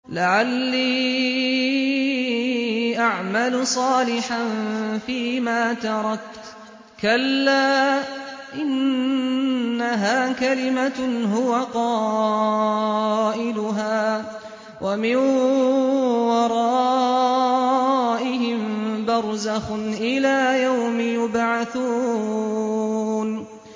لَعَلِّي أَعْمَلُ صَالِحًا فِيمَا تَرَكْتُ ۚ كَلَّا ۚ إِنَّهَا كَلِمَةٌ هُوَ قَائِلُهَا ۖ وَمِن وَرَائِهِم بَرْزَخٌ إِلَىٰ يَوْمِ يُبْعَثُونَ